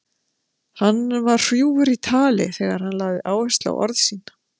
Hann var hrjúfur í tali þegar hann lagði áherslu á orð sín.